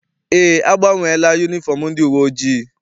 Eé, agbanweela yunifọm ndị uwe ojii.